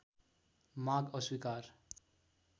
माग अस्वीकार